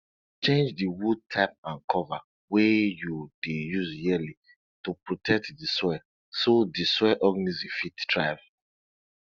change di wood type and cover wey you dey use yearly to protect di soil so di soil organisms fit thrive